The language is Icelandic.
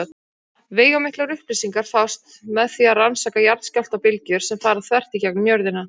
Veigamiklar upplýsingar fást með því að rannsaka jarðskjálftabylgjur sem fara þvert í gegnum jörðina.